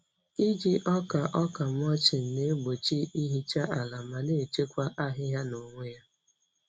Iji ọka ọka mulching na-egbochi ihicha ala ma na-echekwa ahịhịa n'onwe ya.